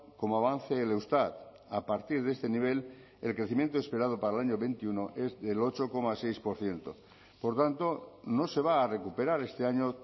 como avance el eustat a partir de este nivel el crecimiento esperado para el año veintiuno es del ocho coma seis por ciento por tanto no se va a recuperar este año